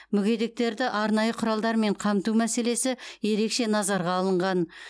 мүгедектерді арнайы құралдармен қамту мәселесі ерекше назарға алынған